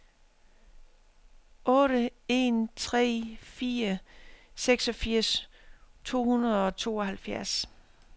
otte en tre fire seksogfirs to hundrede og treoghalvfjerds